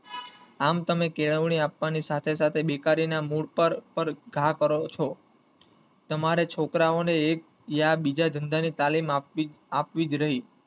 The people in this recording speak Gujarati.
આમ તમે કેળવણી આપવાને સાથે સાથે બેકારી ના મૂળ પર~પર ઘા કરો છો તમારે છોકરા ને એક ય બીજા ધંધા ની તાલીમ આપવી~અપાવી જ રહી.